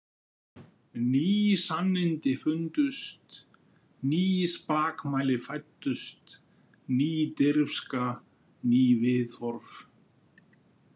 Ný sannindi fundust, ný spakmæli fæddust, ný dirfska, ný viðhorf.